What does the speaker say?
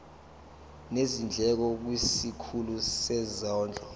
nezindleko kwisikhulu sezondlo